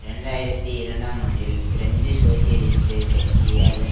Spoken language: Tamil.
இரண்டு ஆயிரத்தி இரண்டாம் ஆண்டில் பிரெஞ்சு சோசியலிஸ்ட் கட்சி அதன்